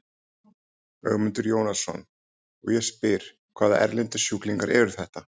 Ögmundur Jónasson: Og ég spyr, hvaða erlendu sjúklingar eru þetta?